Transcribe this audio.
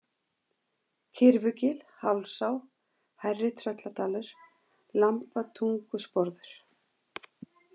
Kyrfugil, Hálsá, Hærri-Trölladalur, Lambatungusporður